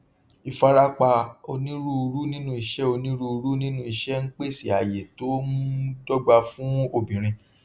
ìfarapa onírúurú nínú iṣẹ onírúurú nínú iṣẹ ń pèsè àyè tó um dọgba fún obìnrin